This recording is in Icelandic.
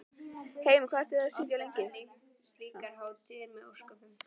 Heimir: Hvað ertu til í að sitja lengi?